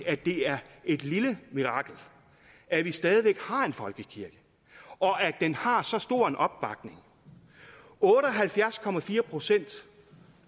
det er et lille mirakel at vi stadig væk har en folkekirke og at den har så stor en opbakning otte og halvfjerds procent